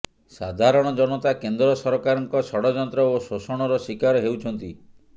ସାଧାରଣ ଜନତା କେନ୍ଦ୍ର ସରକାରଙ୍କ ଷଡ଼ଯନ୍ତ୍ର ଓ ଶୋଷଣର ଶିକାର ହେଉଛନ୍ତି